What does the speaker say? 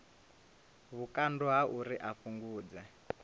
vhukando ha uri a fhungudze